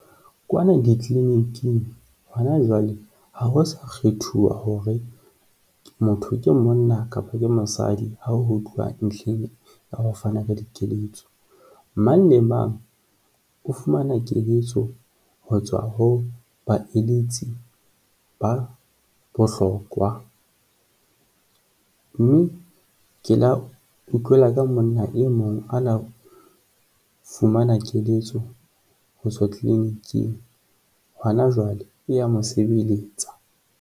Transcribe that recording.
Kwana di-clinic-ing, hona jwale, ha ho sa kgethuwa hore motho ke monna kapa ke mosadi ha ho tluwa ntlheng ya ho fana ka dikeletso. Mang le mang o fumana keletso ho tswa ho baeletsi ba bohlokwa mme ke la o utlwela ka monna e mong a na fumana keletso ho tswa clinic-ing. Hona jwale, e ya mo sebelletsa.